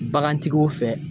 Bagantigiw fɛ